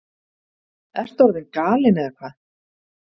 Ertu orðin galin eða hvað?